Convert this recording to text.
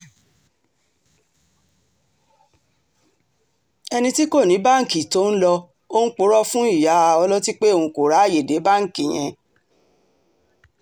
ẹni tí kò ní báńkì tó ń lọò ń purọ́ fún ìyá ọlọ́tí pé òun kò ráàyè dé báǹkì yẹn